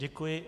Děkuji.